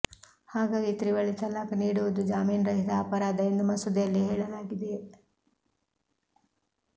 ಹಾಗಾಗಿ ತ್ರಿವಳಿ ತಲಾಖ್ ನೀಡುವುದು ಜಾಮೀನುರಹಿತ ಅಪರಾಧ ಎಂದು ಮಸೂದೆಯಲ್ಲಿ ಹೇಳಲಾಗಿದೆ